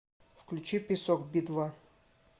включи песок би два